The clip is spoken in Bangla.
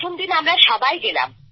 প্রথমদিন আমরা সবাই গেলাম